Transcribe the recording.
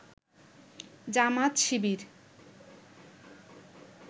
Jamaat Shibir